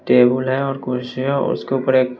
table है और कुर्सियां और उसके ऊपर एक--